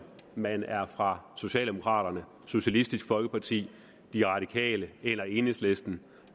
man er fra socialdemokraterne socialistisk folkeparti de radikale eller enhedslisten